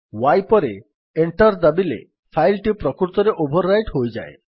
y ପରେ enter ଦାବିଲେ file ଟି ପ୍ରକୃତରେ ଓଭର୍ ରାଇଟ୍ ହୋଇଯାଏ